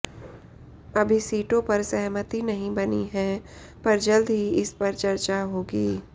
अभी सीटों पर सहमति नहीं बनी है पर जल्द ही इस पर चर्चा होगी